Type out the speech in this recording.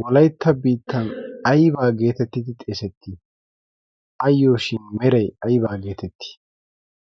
wolaytta biittan aybaa geetettidi xeesettii ayyo shin meray aybaa geetettii